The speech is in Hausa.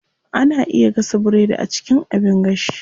Ana iya gasa biredi a cikin abin gashi.